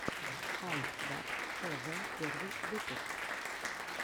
ай дабз тэ вэ первый выпуск